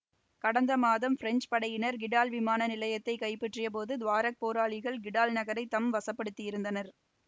கடந்த மாதம் பிரெஞ்சு படையினர் கிடால் விமான நிலையத்தை கைப்பற்றிய போது துவாரெக் போராளிகள் கிடால் நகரை தம் வசப்படுத்தியிருந்தனர்